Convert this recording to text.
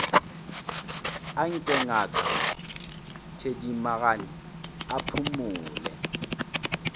anke ngaka thedimogane a phumole